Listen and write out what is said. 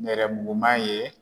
Nɛrɛyɛrɛmuguman ye.